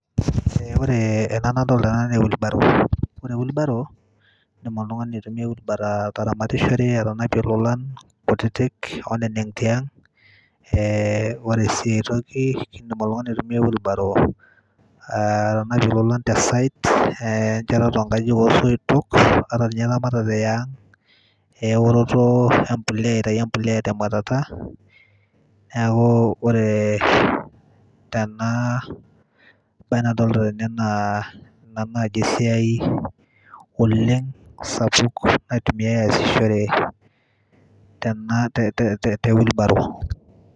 ore ena nadolita tene naa c[s] wheelbarrow ore wheelbarrow [c] indim oltung'ani aitumia ataramatishore, atanapie ilolan kutitik oneneng' tiang' ore sii aitoki indim oltung'ani aitumia wheelbarrow atanapie ilolan te site te nchetata oo nkajijik oo soitok ata ninye eramatare e ang' eoroto aitayu empulea te mwatata, neaku ore tena nadolita tene naa ina najii esiiai oleng' sapuk naitumiae asishore te wheelbarrow